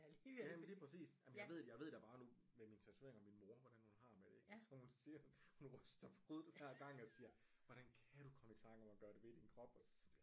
Ja ja men lige præcis jeg ved da bare nu med mine tatoveringer min mor hvordan hun har det med det ikke altså hun siger hun ryster på hovedet hver gang og siger hvordan kan du komme i tanke om at gøre det ved din krop